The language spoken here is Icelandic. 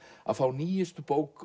að fá nýjustu bók